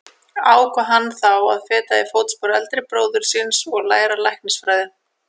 Ákvað hann þá að feta í fótspor eldri bróður síns og læra læknisfræði.